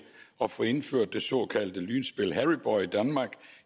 at få indført det såkaldte lynspil harry boy i danmark